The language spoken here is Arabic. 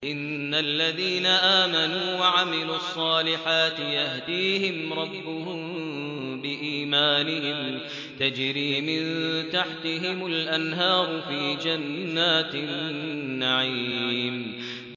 إِنَّ الَّذِينَ آمَنُوا وَعَمِلُوا الصَّالِحَاتِ يَهْدِيهِمْ رَبُّهُم بِإِيمَانِهِمْ ۖ تَجْرِي مِن تَحْتِهِمُ الْأَنْهَارُ فِي جَنَّاتِ النَّعِيمِ